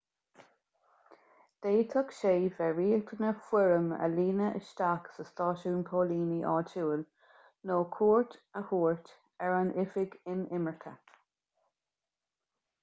d'fhéadfadh sé bheith riachtanach foirm a líonadh isteach sa stáisiún póilíní áitiúil nó cuairt a thabhairt ar an oifig inimirce